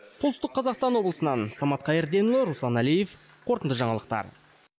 солтүстік қазақстан облысынан самат қайырденұлы руслан әлиев қорытынды жаңалықтар